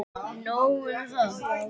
Nóg um það!